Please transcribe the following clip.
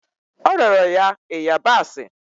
O rịọrọ ya ịyabasị